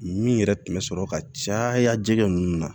Min yɛrɛ tun bɛ sɔrɔ ka caya jɛgɛ ninnu na